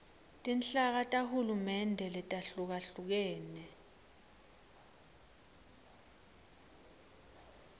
tinhlaka tahulumende letahlukahlukene